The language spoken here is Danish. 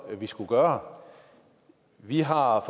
vi skal gøre vi har